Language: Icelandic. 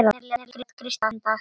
Hvernig lét Kristín í dag?